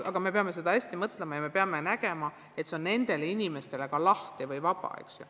Aga me peame seda hästi analüüsima ja arvestama, et see õpe on soovijatele ka kättesaadav.